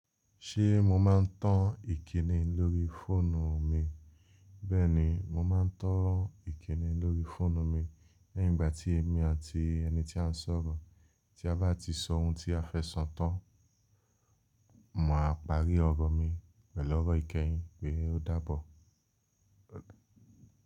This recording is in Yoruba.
Ṣé mo máa ń tan ìkíni lórí fóònù mi? Bẹ́ẹ̀ni, mo máa ń tan ìkíni lórí fóònù mi. Ní ìgbà tí èmi àti ẹni tí à ń sọ̀rọ̀ tí a bá ti sọ ohun tí a fẹ́ sọ tán, màá parí ọ̀rọ̀ mi pẹ̀lú ọ̀rọ̀ ìkẹyìn pé “ó dáabọ̀”.